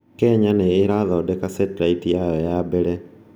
Kenya nĩ ĩrathondeka Satellite yayo ya mbere